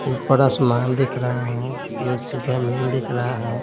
ऊपर आसमान दिख रहा है नीचे जमीन दिख रहा है।